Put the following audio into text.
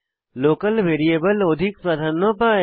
local variable অধিক প্রাধান্য পায়